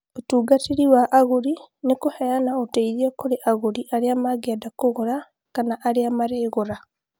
Ũtungatĩri wa agũri nĩ kũheana ũteithio kũrĩ agũri arĩa mangĩenda kũgũra kana arĩa marĩgũra.